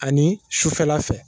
Ani sufɛla fɛ